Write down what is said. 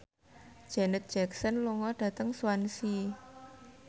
Janet Jackson lunga dhateng Swansea